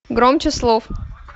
громче слов